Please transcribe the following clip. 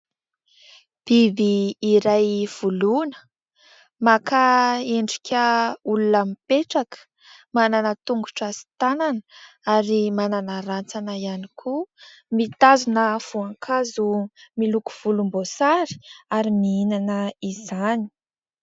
Biby iray voloina, maka endrika olona mipetraka, manana tongotra sy tanana ary manana rantsana ihany koa. Mitazona voankazo miloko volomboasary ary mihinana izany.